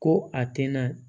Ko a tɛna